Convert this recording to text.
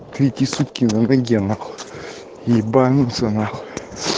третьи сутки на ноге нахуй ебануться нахуй